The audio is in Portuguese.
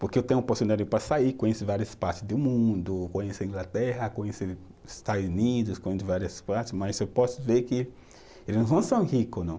Porque eu tenho a oportunidade para sair, conhecer várias partes do mundo, conhecer Inglaterra, conhecer Estados Unidos, conhecer várias partes, mas eu posso ver que eles não são rico, não.